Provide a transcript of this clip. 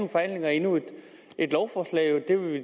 forhandlinger og endnu et lovforslag og